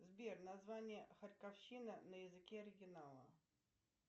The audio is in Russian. сбер название харьковщина на языке оригинала